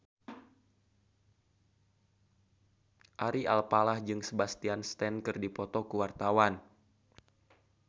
Ari Alfalah jeung Sebastian Stan keur dipoto ku wartawan